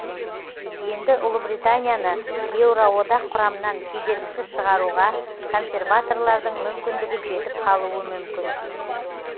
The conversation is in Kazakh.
енді ұлыбританияны еуроодақ құрамынан кедергісіз шығаруға консерваторлардың мүмкіндігі жетіп қалуы мүмкін